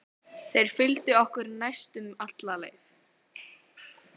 Þeir fylgdu okkur næstum alla leið.